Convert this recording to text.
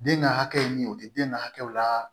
Den ka hakɛ min ye o te den ka hakɛw la